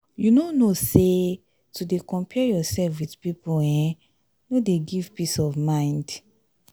you no know sey to dey compare yoursef with pipu um no dey give peace of mind?